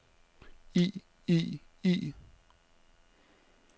i i i